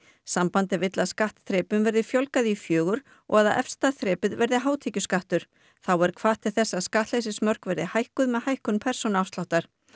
sambandið vill að skattþrepum verði fjölgað í fjögur og efsta þrepið verði hátekjuskattur þá er hvatt til þess að skattleysismörk verði hækkuð með hækkun persónuafsláttar